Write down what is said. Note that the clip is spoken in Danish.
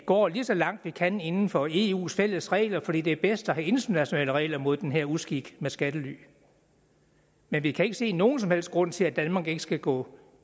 går lige så langt man kan inden for eus fælles regler fordi det er bedst at have internationale regler mod den her uskik med skattely men vi kan ikke se nogen som helst grund til at danmark ikke skal gå